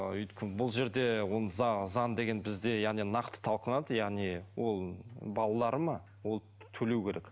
бұл жерде ол заң деген бізде яғни нақты талқыланады яғни ол балалары ма ол төлеу керек